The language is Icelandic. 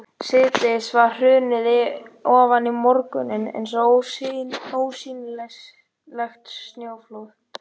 Síðdegið hafði hrunið ofan í morguninn eins og ósýnilegt snjóflóð.